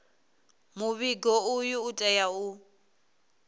muvhigo uyu u tea u